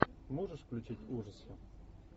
можешь включить ужасы